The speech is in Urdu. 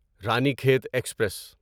رانیخیت ایکسپریس